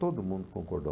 Todo mundo concordou.